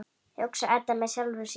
hugsar Edda með sjálfri sér.